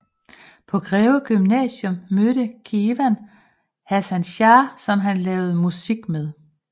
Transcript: På Greve Gymnasium mødte Kewan Hasan Shah som han lavede musik med